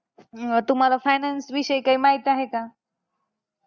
अं तुम्हाला finance विषयी काही माहित आहे का?